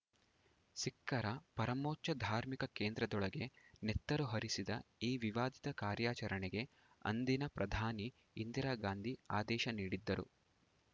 ಸಿಖ್ಖರ ಪರಮೋಚ್ಚ ಧಾರ್ಮಿಕ ಕೇಂದ್ರದೊಳಗೆ ನೆತ್ತರು ಹರಿಸಿದ ಈ ವಿವಾದಿತ ಕಾರ್ಯಾಚರಣೆಗೆ ಅಂದಿನ ಪ್ರಧಾನಿ ಇಂದಿರಾ ಗಾಂಧಿ ಆದೇಶ ನೀಡಿದ್ದರು